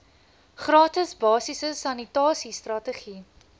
gratis basiese sanitasiestrategie